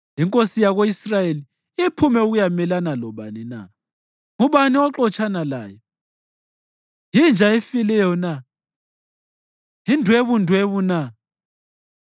Inkosi yako-Israyeli iphume ukuyamelana lobani na? Ngubani oxotshana laye? Yinja efileyo na? Yindwebundwebu na?